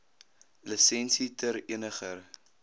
lisensie ter eniger